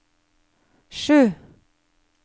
sju